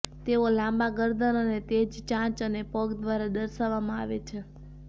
તેઓ લાંબા ગરદન અને તે જ ચાંચ અને પગ દ્વારા દર્શાવવામાં આવે છે